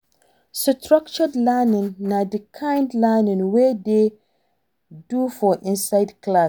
Structured learning na di kind learning wey Dem do for inside class